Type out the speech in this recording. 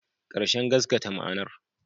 Ƙarshen gaskata ma'anar